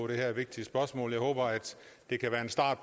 det her vigtige spørgsmål jeg håber at det kan være en start